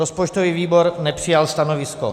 Rozpočtový výbor nepřijal stanovisko.